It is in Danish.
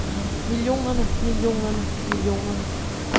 millionerne millionerne millionerne